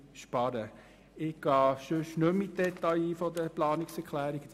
Ich gehe nicht mehr auf die Details der Planungserklärungen ein;